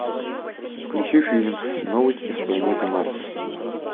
включи фильм новости с планеты марс